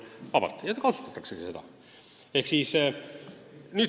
Ja seda kasutataksegi.